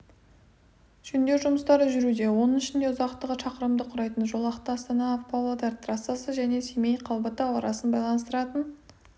жөндеу жұмыстары жүруде оның ішінде ұзақтығы шақырымды құрайтын жолақты астана-павлодар трассасы және семей-қалбатау арасын байланыстыратын